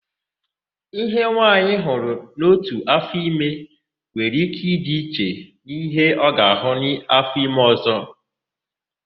Íhe nwaanyị hụrụ n'ótù áfọime nwere íké ịdị iche n'íhé ọ ga-àhụ́ n'áfọime ọ̀zọ́.